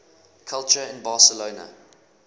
culture in barcelona